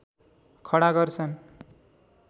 खडा गर्छन्